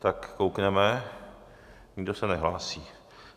Tak koukneme, nikdo se nehlásí.